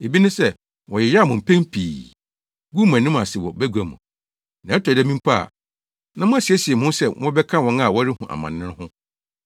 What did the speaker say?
Ebi ne sɛ, wɔyeyaw mo mpɛn pii, guu mo anim ase wɔ bagua mu; na ɛtɔ da bi mpo a, na moasiesie mo ho sɛ mobɛka wɔn a wɔrehu amane no ho.